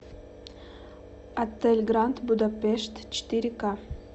отель гранд будапешт четыре ка